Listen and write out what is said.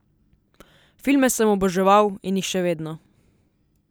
Filme sem oboževal in jih še vedno.